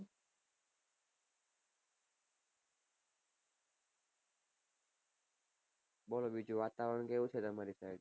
બોલો બીજું ત્યાં વાતાવરણ કેવું છે ત્યાં